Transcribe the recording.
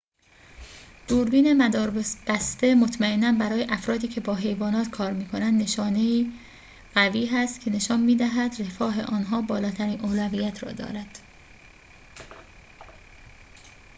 دوربین مداربسته مطمئناً برای افرادی‌که با حیوانات کار می‌کنند نشانه‌ای قوی است که نشان می‌دهد رفاه آن‌ها بالاترین اولویت را دارد